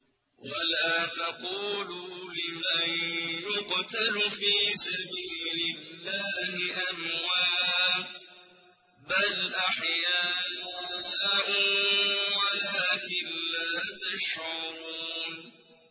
وَلَا تَقُولُوا لِمَن يُقْتَلُ فِي سَبِيلِ اللَّهِ أَمْوَاتٌ ۚ بَلْ أَحْيَاءٌ وَلَٰكِن لَّا تَشْعُرُونَ